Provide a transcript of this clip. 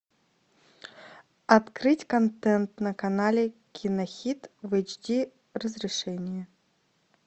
открыть контент на канале кинохит в эйч ди разрешении